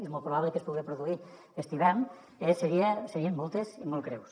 és molt probable que es pugui produir aquest hivern eh serien moltes i molt greus